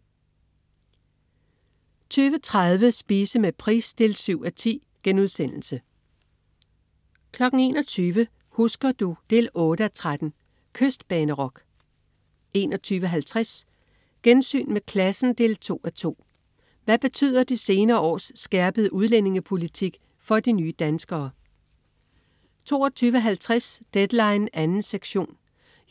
20.30 Spise med Price 7:10* 21.00 Husker du? 8:13 Kystbanerock 21.50 Gensyn med klassen 2:2. Hvad betyder de senere års skærpede udlændingepolitik for de nye danskere? 22.50 Deadline 2. sektion.